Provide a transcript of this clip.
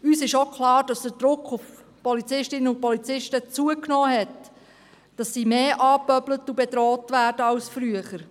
Uns ist auch klar, dass der Druck auf Polizistinnen und Polizisten zugenommen hat, dass sie mehr angepöbelt und bedroht werden als früher.